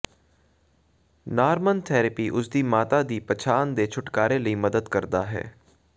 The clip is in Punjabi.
ਨਾਰਮਨ ਥੈਰੇਪੀ ਉਸ ਦੀ ਮਾਤਾ ਦੀ ਪਛਾਣ ਦੇ ਛੁਟਕਾਰੇ ਲਈ ਮਦਦ ਕਰਦਾ ਹੈ